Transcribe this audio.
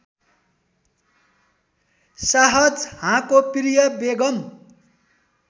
शाहजहाँको प्रिय बेगम